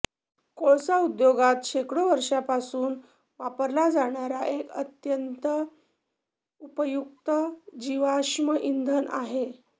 कोळसा उद्योगात शेकडो वर्षांपासून वापरला जाणारा एक अत्यंत उपयुक्त जिवाश्म इंधन आहे